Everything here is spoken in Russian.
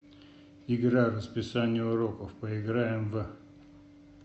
игра расписание уроков поиграем в